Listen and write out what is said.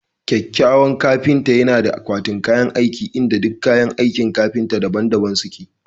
kyakkyawan kafinta yana da akwatin kayan aiki inda duk kayan aikin kafinta daban-daban suke